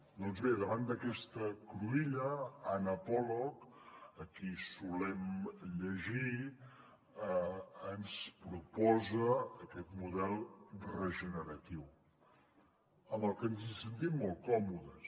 doncs bé davant d’aquesta cruïlla anna pollock a qui solem llegir ens proposa aquest model regeneratiu amb el que ens hi sentim molt còmodes